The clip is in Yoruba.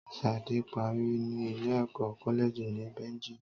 Sade parí ní ilé ẹ̀kọ́ koleji ní Beijing